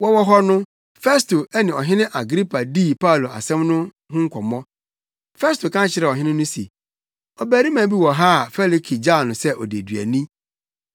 Wɔwɔ hɔ no, Festo ne Ɔhene Agripa dii Paulo asɛm no ho nkɔmmɔ. Festo ka kyerɛɛ ɔhene no se, “Ɔbarima bi wɔ ha a Felike gyaw no sɛ odeduani;